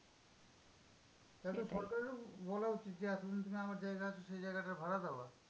তাহলে তো সরকারেরও বলা উচিত যে, এতো দিন তুমি আমার জায়গায় আছো সেই জায়গাটার ভাড়া দেওয়া।